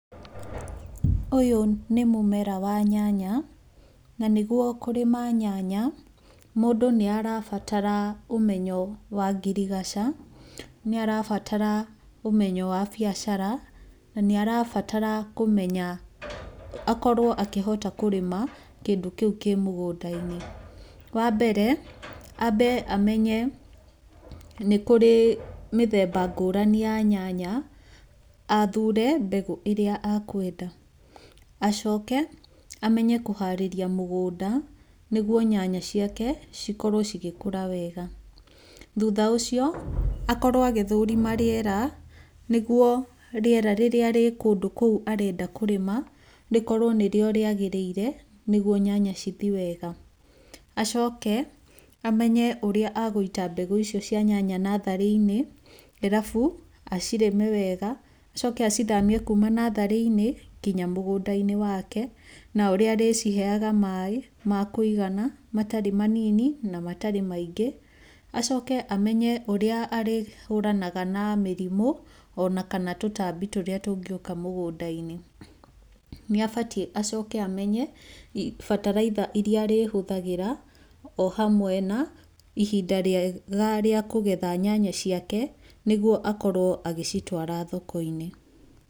Ũyũ nĩ mũmera wa nyanya na nĩguo kũrĩma nyanya mũndũ nĩ arabatara ũmenyo wa ngirigaca, nĩ arabatara ũmenyo wa biacara na nĩ arabatara kũmenya akorwo akĩhota kũrĩma kĩndũ kĩu kĩ mũgũnda-inĩ. Wa mbere ambe amenye nĩ kũrĩ mĩthemba ngũrani ya nyanya, athure mbegũ irĩa akwenda. Acoke amenye kũhaarĩria mũgũnda nĩguo nyanya ciake cikorwo cigĩkũra wega. Thutha ũcio akorwo agĩthũrima rĩera, nĩguo rĩera rĩu rĩrĩ kũndũ kũu arenda kũrĩma, rĩkorwo nĩrĩo rĩagĩrĩire nĩguo nyanya cithi wega. Acoke amenye ũrĩa agũita mbegũ icio cia nyanya natharĩ-inĩ, arabu acirĩme wega acoke acithamie kuuma natharĩ-inĩ nginya mũgũnda-inĩ wake, na ũrĩa arĩciheaga maaĩ ma kũigana matarĩ manini na matarĩ maingĩ. Acoke amenye ũrĩa arĩhũranaga na mĩrimũ ona kana tũtambi tũrĩa tũngĩũka mũgũnda-inĩ. Nĩ abatiĩ acoke amenye bataraitha irĩa arĩhũthagĩra o hamwe na ihinda rĩega rĩa kũgetha nyanya ciake, nĩguo akorwo agĩcitwara thoko-inĩ.